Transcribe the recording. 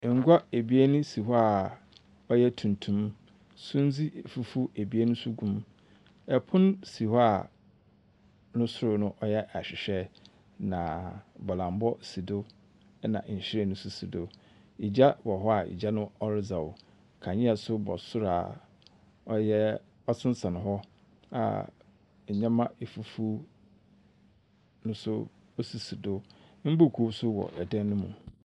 Ngua ebien si hɔ a ɔyɛ tuntum. Sumdze fufuw ebien nso gu mu. Pon si hɔ a no sor no ɔyɛ ahwehwɛ, na bɔlambɔ si do, ɛna nhwiren nso si do. Egya wɔ hɔ a egya no ɔredzɛw. Kandzea nso bɔ sor a ɔyɛ ɔsensɛn hɔ a ndzɛmba efufuw nso sisi do. Mbuuku nso wɔ dan no mu.